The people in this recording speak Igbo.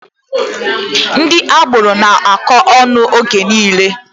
Ndị agboro na-akọ ọnụ oge niile.